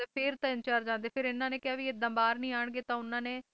ਫੇਰ ਤਿੰਨ ਚਾਰ ਜਾਂਦੇ ਫਿਰ ਇਨ੍ਹਾਂ ਨੇ ਕਿਹਾ ਐਦਾਂ ਬਾਹਰ ਨਹੀਂ ਆਉਣਗੇ ਤਾਂ ਉਨ੍ਹਾਂਨੇ